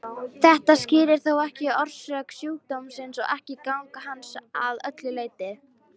Þetta skýrir þó ekki orsök sjúkdómsins og ekki gang hans að öllu leyti.